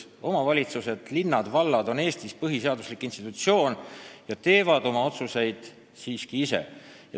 Omavalitsused ehk linnad ja vallad on Eestis põhiseaduslik institutsioon ja teevad oma otsuseid siiski ise.